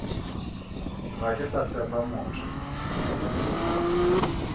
ga ke sa tshepa motho